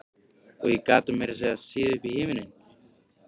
Og ég gat meira að segja séð upp í himininn.